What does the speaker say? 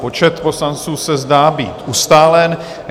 Počet poslanců se zdá být ustálen.